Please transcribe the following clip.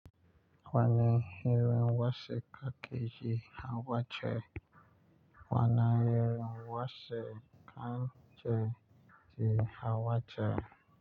Wani irin wasiƙa ke yi ha wace? Wana irin wasiƙa ce ke yi ha wace?